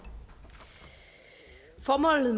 for meget